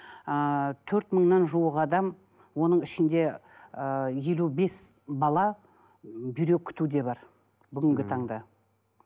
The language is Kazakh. ыыы төрт мыңнан жуық адам оның ішінде ыыы елу бес бала бүйрек күтуде бар бүгінгі таңда